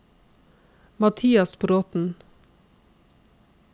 Mathias Bråten